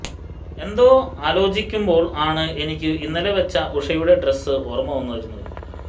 എന്തോ ആലോജിക്കുമ്പോൾ ആണ് എനിക്കു ഇന്നലെ വെച്ച ഉഷയുടെ ഡ്രസ്സ് ഓർമ വരുന്നത്